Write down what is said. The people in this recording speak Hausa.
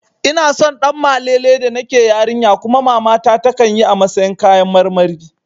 Ina son Ɗanmalele da nake yarinya kuma mamata takan yi a matsayin kayan karmari